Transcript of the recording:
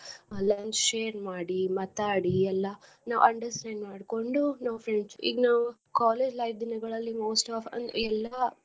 Lunch share ಮಾಡಿ ಮಾತಾಡಿ ಎಲ್ಲಾ ನಾವ್ understand ಮಾಡ್ಕೊಂಡು ನಾವ್ friends ಈಗ ನಾವ್ college life ದಿನಗಳಲ್ಲಿ ನಾವ್ most of ಅಂದ್ರೆ ಎಲ್ಲಾ.